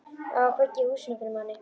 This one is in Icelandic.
Á að kveikja í húsinu fyrir manni!